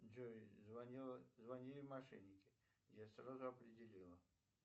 джой звонили мошенники я сразу определила